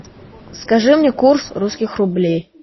скажи мне курс русских рублей